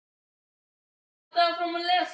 Flokkurinn við Sauðafell laust upp sigurópi.